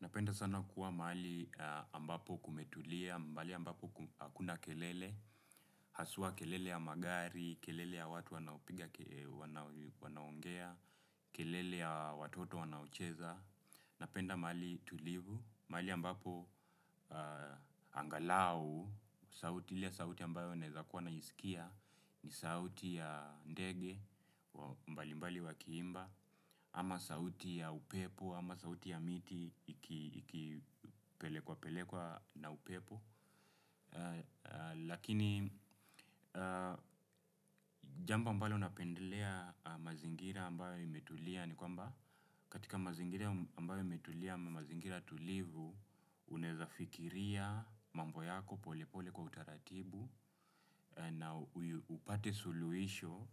Napenda sana kuwa mahali ambapo kumetulia, mahali ambapo hakuna kelele, haswa kelele ya magari, kelele ya watu wanaopiga wanaongea, kelele ya watoto wanaocheza. Napenda mahali tulivu, mahali ambapo angalau, sauti ya sauti ambayo naezakuwa naisikia, ni sauti ya ndege, mbali mbali wakiimba, ama sauti ya upepo, ama sauti ya miti, ikipelekwa pelekwa na upepo. Lakini jambo ambalo napendelea mazingira ambayo imetulia. Ni kwamba katika mazingira ambayo imetulia mazingira tulivu. Unaweza fikiria mambo yako pole pole kwa utaratibu. Na upate suluhisho